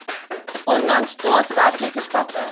onlangs daadwerklike stappe